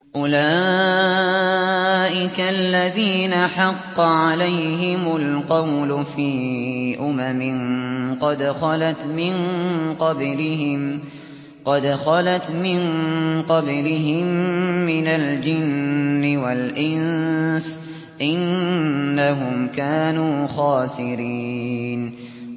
أُولَٰئِكَ الَّذِينَ حَقَّ عَلَيْهِمُ الْقَوْلُ فِي أُمَمٍ قَدْ خَلَتْ مِن قَبْلِهِم مِّنَ الْجِنِّ وَالْإِنسِ ۖ إِنَّهُمْ كَانُوا خَاسِرِينَ